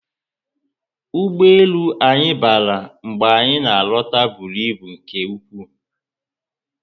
Ụgbọelu anyị bara mgbe anyị na alota bụrụ ibu nke ụkwụ